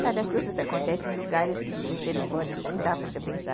Sabe, as coisas acontecem em lugares que você não pode, não dá para você pensar.